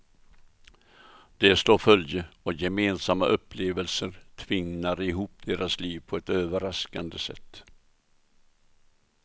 De slår följe och gemensamma upplevelser tvinnar ihop deras liv på ett överraskande sätt.